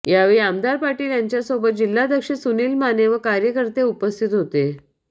यावेळी आमदार पाटील यांच्यासोबत जिल्हाध्यक्ष सुनील माने व कार्यकर्ते उपस्थित होते